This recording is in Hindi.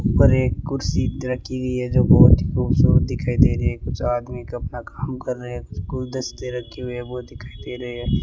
ऊपर एक कुर्सी रखी हुई है जो बहुत ही खूबसूरत दिखाई दे रही है कुछ आदमी अपना काम कर रहे हैं कुछ गुलदस्ते रखे हुए हैं वो दिखाई दे रहे हैं।